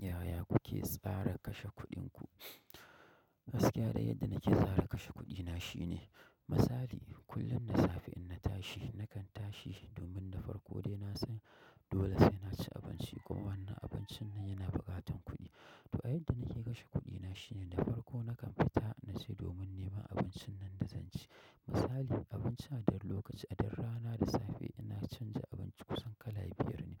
Yaya kuke tsara kashe kuɗin ku? Gaskiya dai yadda nake tsara kashe kuɗina shine, misali kullum da safe in na tashi nakan tashi domin na farko dai na san dole sai na ci abinci kuma wannan abincin nan yana buƙatar kuɗi. To, yadda nake kashe kuɗina shine, da farko nakan fita na ce domin neman abincin nan da zan ci. Misali abinci aduk lokaci da rana da safe ina canza abinci kusan kala biyar ne.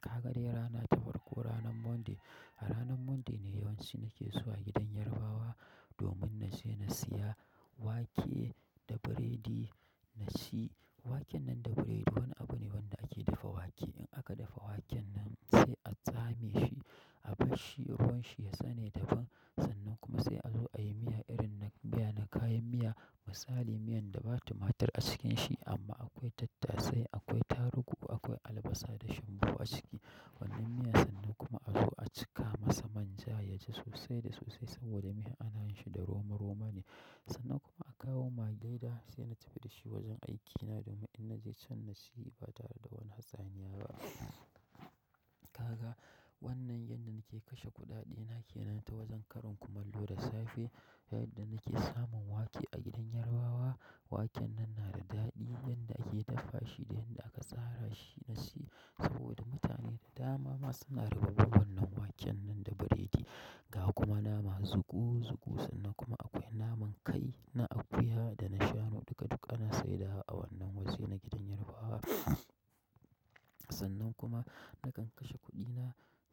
Ka ga dai rana ta farko ranan Monday, a ranan Monday ne yawanci nake zuwa gidan Yarbawa domin na je na siya wake da biredi na ci. Waken nan da biredi wani abu ne wanda ake dafa wake. In aka dafa waken nan sai a tsame shi a barshi ruwan shi ya tsame daban. Sannan kuma sai a zo a yi miya irin na miya na kayan miya, misali miyan da ba tumatur a cikin shi amma akwai tattasai, akwai tarugu, akwai albasa da shumbu a ciki. Wannan miya sannan kuma a zo a cika masa manja ya ji sosai da sosai saboda miyan ana yin shi da roma roma ne. Sannan kuma a kawo mage dai sai na tafi da shi wajen aikina domin in na je can na ci ba tare da wani hatsaniya ba. Wannan yanda nake kashe kuɗaɗe na kenan wajen karin kumallo da safe yadda nake samun wake a gidan Yarbawa, waken nan na da daɗi yanda ake dafa shi da yanda aka tsara shi na ci saboda mutane da dama masu anarbarbar wannan waken nan da biredi. Ga kuma nama zuku zuku sannan kuma akwai naman kai na akuya da na shanu duka duka na sayar da wa a wannan wajena gidan Yarbawa. Sannan kuma nakan kashe kuɗina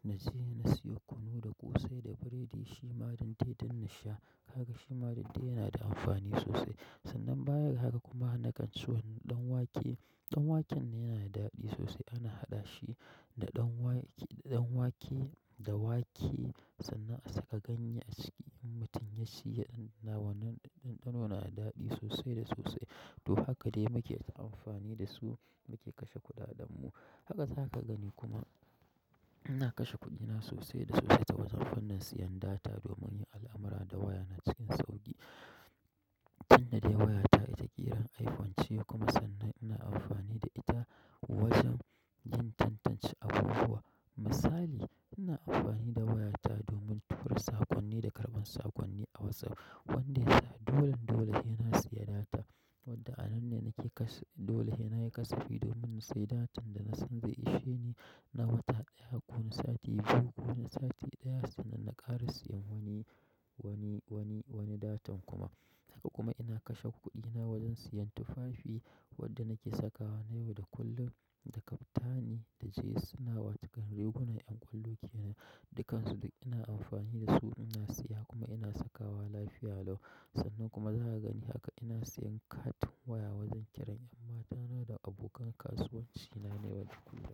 na je na siyo kunu da ƙosai da biredi shima dande don na sha. Ka ga shima dande yana da amfani sosai. Sannan bayan haka kuma nakan so ɗan wake. Ɗan waken yana da daɗi sosai ana haɗa shi da ɗan wake, da wake sannan a saka ganye a ciki. In mutum ya ci ya ɗanɗana wannan ɗanɗano na da daɗi sosai da sosai. To, haka dai muke ta amfani da su muke kashe kuɗaɗen mu. Haka zaka gani kuma ina kashe kuɗina sosai da sosai ta wajen wannan siyan data domin yin al'amurra da waya na cikin sauƙi. Tinda dai waya ta ita kiran iPhone ce kuma sannan ina amfani da ita wajen yin tantance abubuwa. Misali ina amfani da waya ta domin tura saƙonni da karɓan saƙonni a WhatsApp. Wanda ya sa dolan dole sai na siya data. Tunda anan ne nake kasafi, dole sai nayi kasafi, da wanda nasai data na wata ɗaya ko na sati ɗaya sannan nakara sayan wani datan kuma haka kuma ina kashe kuɗina wajen siyan tufafi wanda nake sakawa na yau da kullum, da kaftani da jees suna wa cikin rigunan ƴan ƙwallo ke nan. Dukansu duk ina amfani da su ina siya kuma ina sakawa lafiya lau. Sannan kuma za ka gani haka ina siyan katin waya wajen kiran ƴan matana da abokan kasuwanci na ne wajen kula.